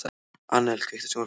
Annel, kveiktu á sjónvarpinu.